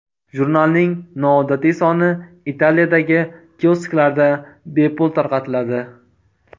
Jurnalning noodatiy soni Italiyadagi kiosklarda bepul tarqatiladi.